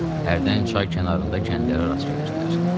Hərdən çay kənarında kəndlərə rast gəlirdilər.